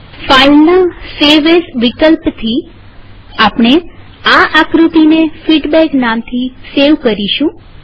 ફાઈલના save as વિકલ્પથી આપણે આ આકૃતિને ફીડબેક નામથી સેવ કરીશું